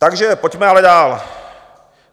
Takže pojďme ale dál.